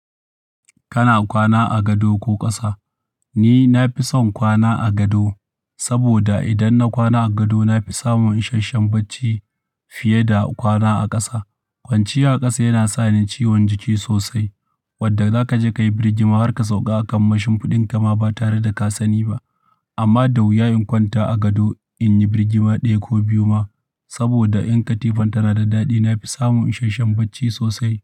Kana kwana a gado ko ƙasa? Ni na fi son kwana a gado saboda idan na kwana a gado na fi samun isashen bacci fiye da kwana a ƙasa. Kwanciya a ƙasa yana sa ni ciwon jiki sosai wadda za ka je ka yi birgima har ka sauƙa akan mashin fiɗinka ma ba tare da ka sani ba. Amma da wuya in kwanta a gado in yi birgima ɗaya ko biyu ma saboda in katifan ta na da daɗi. Na fi samun isashen bacci sosai.